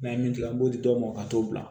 N'an ye min tigɛ an b'o di dɔw ma ka t'o bila